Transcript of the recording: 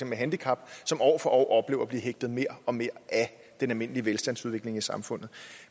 med handicap som år for år oplever at blive hægtet mere og mere af den almindelige velstandsudvikling i samfundet